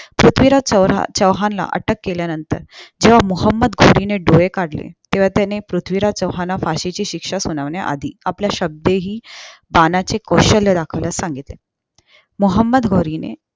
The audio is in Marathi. पृथ्वीराज चौहान ला अटक केल्या नंतर जेव्हा मोहोमद खोरी ने डोळे काढले तेव्हा त्याने पृथ्वीराज चौहान ला फाशी ची शिक्षा सुनावण्या आधी आपल्या आपल्या शाब्देहि बाणाचे कौशल्य दाखवण्यास सांगितले मोहोमंद खोरीने